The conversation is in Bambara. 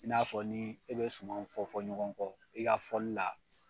I n'a fɔ ni e be sumanw fɔ fɔ ɲɔgɔn kɔ i ka fɔli la